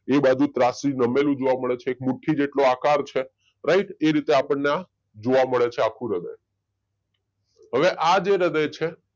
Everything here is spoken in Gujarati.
એ બાજુ ત્રાંસુ નમેલું જોવા મળે અને એક મુઠ્ઠી જેટલું આકર છે રાઈટ એ રીતે આપણે આ જોવા મળે છે આખું હૃદય હવે આ જે હૃદય છે